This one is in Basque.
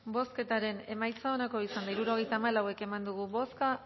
bozketaren emaitza onako izan da hirurogeita hamalau eman dugu bozka